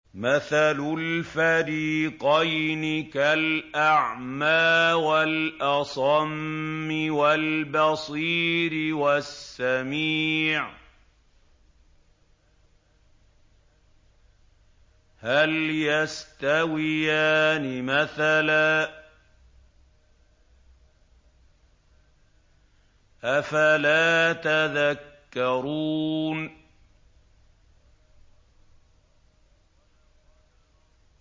۞ مَثَلُ الْفَرِيقَيْنِ كَالْأَعْمَىٰ وَالْأَصَمِّ وَالْبَصِيرِ وَالسَّمِيعِ ۚ هَلْ يَسْتَوِيَانِ مَثَلًا ۚ أَفَلَا تَذَكَّرُونَ